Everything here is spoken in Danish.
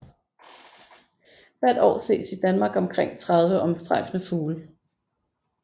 Hvert år ses i Danmark omkring 30 omstrejfende fugle